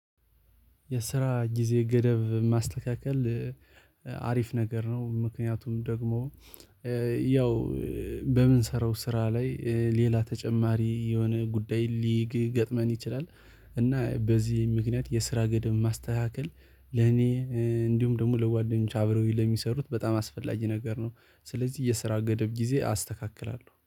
የስራ ጊዜ ገደብ ማስተካከል አሪፍ ነገር ነው። ምክንያቱም ደግሞ ያው በምንሰራው ስራ ላይ ሌላ ተጨማሪ የሆነ ጉዳይ ሊግገጥመን ይችላል። እና በዚህ ምክንያት የስራ ገደብ ማስተካከል ለኔ እንዲሁም ደግሞ ለጓደኞቼ አብረውኝ ለሚሰሩት በጣም አስፈላጊ ነገር ነው። ስለዚህ የስራ ገደብ ጊዜ አስተካክላለሁ